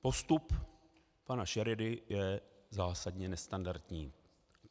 Postup pana Šeredy je zásadně nestandardní.